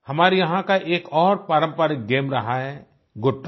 हमारे यहाँ का एक और पारम्परिक गेम रहा है गुट्टा